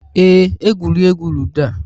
Ee, egwuregwu ludo a